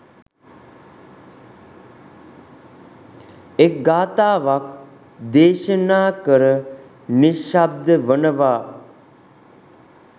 එක් ගාථාවක් දේශනා කර නිශ්ශබ්ද වනවා.